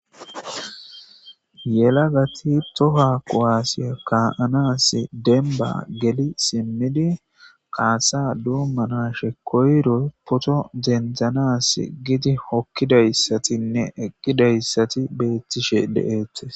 Yelagati tohua kuasiya kaanasi denba geli simidi kasa domanashe koyiro poto denidanas gidi hokidayisatinne eqidayisati betishe deates.